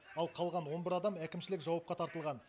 ал қалған он бір адам әкімшілік жауапқа тартылған